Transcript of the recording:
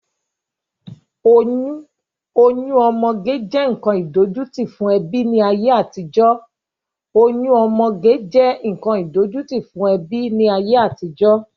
Oyún ọmọge jẹ́ nkan idojuti fún ẹbí ni ayé àtijọ́.